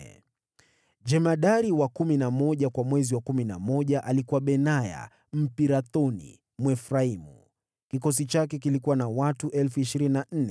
Jemadari wa kumi na moja kwa mwezi wa kumi na moja alikuwa Benaya Mpirathoni wa Waefraimu. Kikosi chake kilikuwa na watu 24,000.